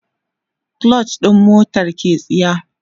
clutch ɗin motar ke tsiya